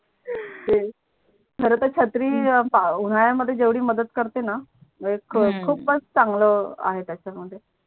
खर तर छत्री पाऊस उनड्या मध्ये जेवडी मदत करतेणा लयच हम्म खूप खूपच चांगल आहे त्याच्या मध्ये